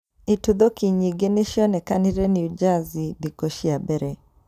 Itũthũki nyingĩ nĩcianekanire New Jersey thikũ ciambere